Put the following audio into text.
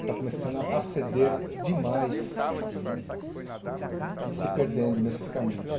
Está começando a ceder demais e se perdendo nesses caminhos.